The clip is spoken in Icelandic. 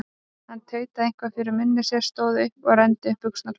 Hann tautaði eitthvað fyrir munni sér, stóð upp og renndi upp buxnaklaufinni.